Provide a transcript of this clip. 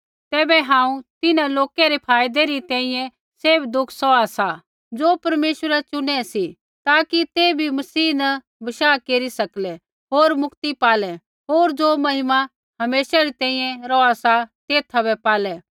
तैबै हांऊँ तिन्हां लोका रै फायदै री तैंईंयैं सैभ दुःख सौहा सा ज़ो परमेश्वरै चुनै सी ताकि ते भी मसीह न बशाह केरी सकलै होर मुक्ति पालै होर ज़ो महिमा हमेशा री तैंईंयैं रौहा सा तेथा बै पालै